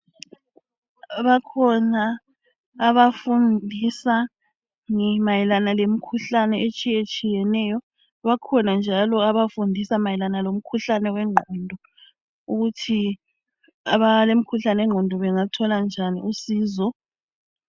Bakhona abafundisa mayelana lemikhuhlane etshiye tshiyeneyo bakhona njalo abafundisa mayelana lemikhuhlane wengqondo ukuthi abalemikhuhlane yengqondo bengathola njani usizo